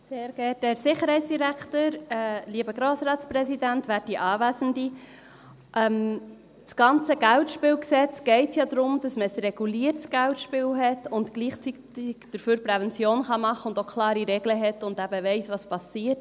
Im ganzen KGSG geht es ja darum, dass man ein reguliertes Geldspiel hat, gleichzeitig dafür Prävention machen kann, auch klare Regeln hat und eben auch weiss, was passiert.